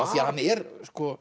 því hann er